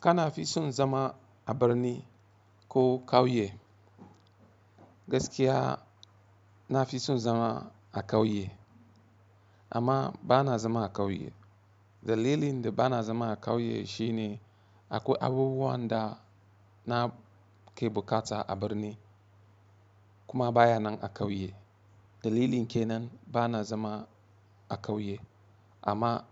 Kana fi son zama a birni ko ƙauye? Gaskiya na fi son zama a ƙauye amma ba na zama a ƙauye. Dalilin da ba na zama a ƙauye shine akwai abubuwan da na ke buƙata a birni kuma baya nan a ƙauye. Dalilin ke nan ba na zama a ƙauye amma